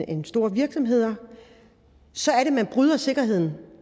en stor virksomhed så er det man bryder sikkerheden